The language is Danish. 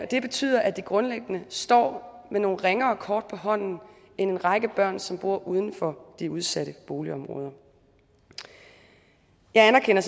det betyder at de grundlæggende står med nogle ringere kort på hånden end en række børn som bor uden for de udsatte boligområder jeg anerkender